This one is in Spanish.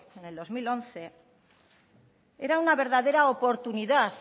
en el dos mil once era una verdadera oportunidad